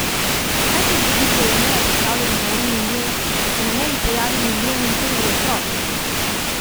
Kaj se zgodi, ko je meja postavljena na en milijon, pa se na meji pojavi milijon in prvi otrok?